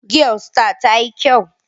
Giyar star tayi kyau